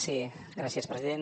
sí gràcies president